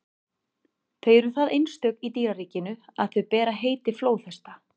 þau eru það einstök í dýraríkinu að þau bera heiti flóðhesta